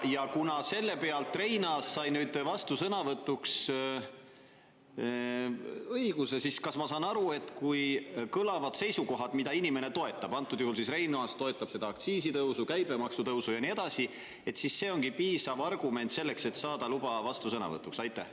Ja kuna selle pealt Reinaas sai nüüd vastusõnavõtuks õiguse, siis kas ma saan aru, et kui kõlavad seisukohad, mida inimene toetab, antud juhul siis Reinaas toetab seda aktsiisitõusu, käibemaksu tõusu ja nii edasi, siis see ongi piisav argument selleks, et saada luba vastusõnavõtuks?